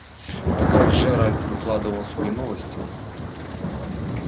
пока джеральд выкладывал свои новости